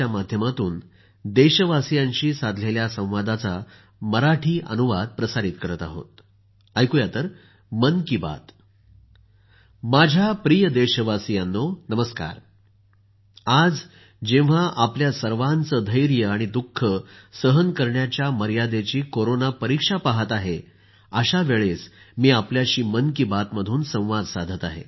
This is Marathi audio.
माझ्या प्रिय देशवासियांनो नमस्कार आज जेंव्हा आपल्या सर्वांचं धैर्य दुःख सहन करण्याच्या मर्यादेची कोरोना परीक्षा पहात आहे अशा वेळेस आपल्याशी मन की बात मधून संवाद साधत आहे